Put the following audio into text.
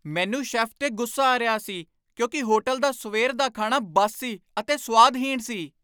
ਮੈਨੂੰ ਸ਼ੈੱਫ 'ਤੇ ਗੁੱਸਾ ਆ ਰਿਹਾ ਸੀ ਕਿਉਂਕਿ ਹੋਟਲ ਦਾ ਸਵੇਰ ਦਾ ਖਾਣਾ ਬਾਸੀ ਅਤੇ ਸੁਆਦਹੀਣ ਸੀ।